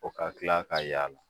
O ka kila ka y'a la.